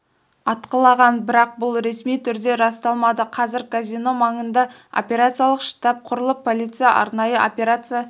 атқылаған бірақ бұл ресми түрде расталмады қазір казино маңында операциялық штаб құрылып полиция арнайы операция